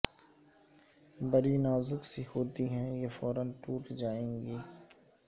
بڑی نازک سی ہوتی ہیں یہ فورا ٹوٹ جائیں گی